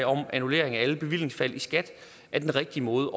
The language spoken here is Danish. om annullering af alle bevillingsfald i skat er den rigtige måde